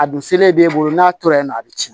A dun selen b'e bolo n'a tora yen nɔ a bɛ ci